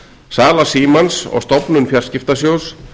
sala símans og stofnun fjarskiptasjóðs